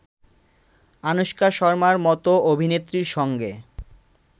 আনুশকা শর্মার মতো অভিনেত্রীর সঙ্গে